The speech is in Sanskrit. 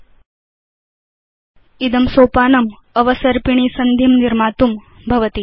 39 00316019 000323 इदं सोपानम् अवसर्पिणी सन्धिं निर्मातुम् अस्ति